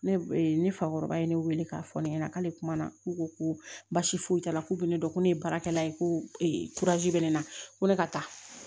Ne e fakɔrɔba ye ne weele k'a fɔ ne ɲɛna k'ale kuma na k'u ko ko basi foyi t'a la k'u bɛ ne dɔn ko ne ye baarakɛla ye ko bɛ ne na ko ne ka taa